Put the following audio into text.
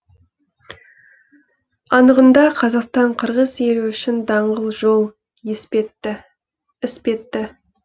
анығында қазақстан қырғыз елі үшін даңғыл жол іспетті